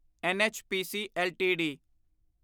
NHPC LTD